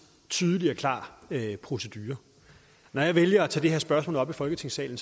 tydelig og klar procedure når jeg vælger at tage det her spørgsmål op i folketingssalen